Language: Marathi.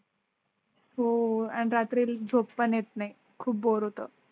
हो आणि रात्री झोप पण येत नाही. खूप बोर होत.